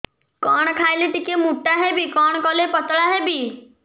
କଣ ଖାଇଲେ ଟିକେ ମୁଟା ହେବି କଣ କଲେ ପତଳା ହେବି